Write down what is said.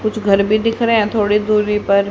कुछ घर भी दिख रहे हैं थोड़ी दूरी पर।